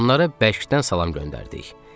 Onlara bəkdən salam göndərdik.